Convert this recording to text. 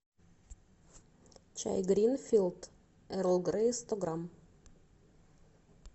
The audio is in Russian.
чай гринфилд эрл грей сто грамм